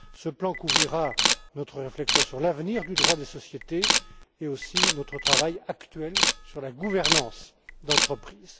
Ce plan couvrira notre réflexion sur l'avenir du droit des sociétés et aussi notre travail actuel sur la gouvernance d'entreprise.